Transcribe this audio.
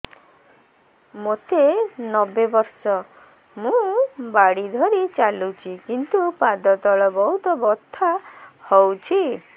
ମୋତେ ନବେ ବର୍ଷ ମୁ ବାଡ଼ି ଧରି ଚାଲୁଚି କିନ୍ତୁ ପାଦ ତଳ ବହୁତ ବଥା ହଉଛି